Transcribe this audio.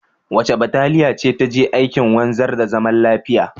Wace bataliya ce ta je aikin wanzar da zaman lafiya?